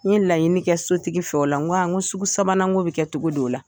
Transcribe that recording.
N laɲini kɛ sotigi fɛ o la n ko sugu sabananko bɛ kɛ cogo di o la?